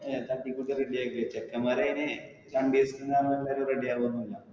അഹ് തട്ടി കൂട്ടി ready വെച്ചേക്ക്. ചെക്കന്മാര് അതിനു അയിന് ready ആവൊന്നില്ല.